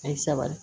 A ye sabali